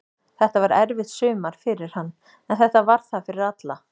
Þetta var erfitt sumar fyrir hann, en þetta var það fyrir alla.